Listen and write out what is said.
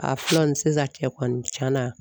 A fɔlɔ nin sisan cɛ kɔni tiɲɛn na